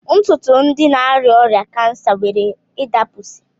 Ntụtụ ndi na-arịa ọrịa kansa nwere ịdapụsị